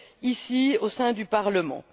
ici, au sein du Parlement.